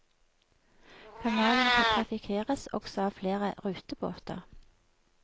Kanalen trafikkeres også av av flere rutebåter.